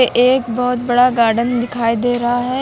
एक बहोत बड़ा गार्डन दिखाई दे रहा है।